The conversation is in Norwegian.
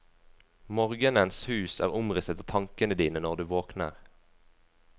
Morgenens hus er omrisset av tankene dine når du våkner.